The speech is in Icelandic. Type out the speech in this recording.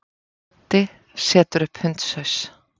Doddi setur upp hundshaus.